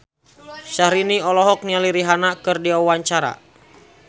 Syahrini olohok ningali Rihanna keur diwawancara